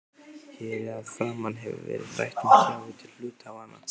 Hér að framan hefur verið rætt um gjafir til hluthafanna.